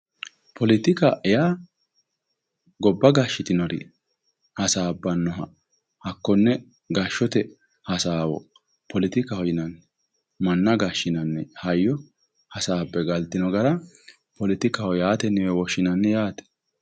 Poletika yaa gobba gashshitinori hasaabbanoha hakkone gashshote hasaawo poletikaho yinanni manna gashinanni hayyo hasaabbe galtino gara poletikaho yine woshshinanni yaatewe.